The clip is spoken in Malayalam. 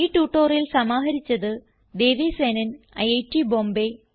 ഈ ട്യൂട്ടോറിയൽ സമാഹരിച്ചത് ദേവി സേനൻ ഐറ്റ് ബോംബേ